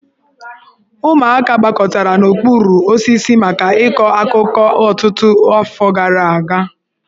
Ụmụaka gbakọtara n'okpuru osisi maka ịkọ akụkọ ọtụtụ afọ gara aga